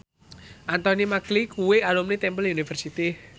Anthony Mackie kuwi alumni Temple University